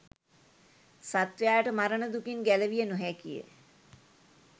සත්වයාට මරණ දුකින් ගැලවිය නොහැකිය.